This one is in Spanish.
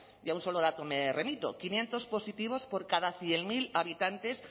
y a un solo dato me remito quinientos positivos por cada cien mil habitantes